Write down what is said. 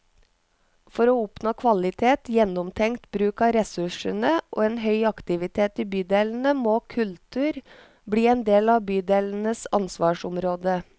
For å oppnå kvalitet, gjennomtenkt bruk av ressursene og en høy aktivitet i bydelene, må kultur bli en del av bydelenes ansvarsområde.